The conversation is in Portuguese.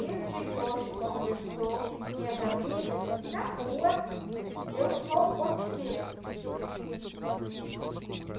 E no dia de hoje, onde estou, com minhas amigas, na rua, eu sou positiva.